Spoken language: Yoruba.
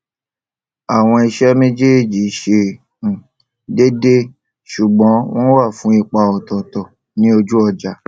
àwọn iṣé méjèèjì ṣe um déédé ṣùgbón wón wà fún ipa òtòòtò ní ojú ọjà